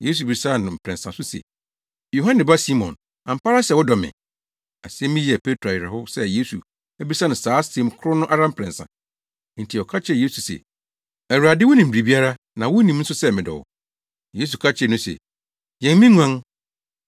Yesu bisaa no ne mprɛnsa so se, “Yohane ba Simon, ampa ara sɛ wodɔ me?” Asɛm yi yɛɛ Petro awerɛhow sɛ Yesu abisa no saa asɛm koro no ara mprɛnsa. Enti ɔka kyerɛɛ Yesu se, “Awurade, wunim biribiara, na wunim nso sɛ medɔ wo!” Yesu ka kyerɛɛ no se, “Yɛn me nguan.